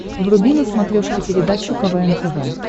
вруби на смотрешке передачу квн тв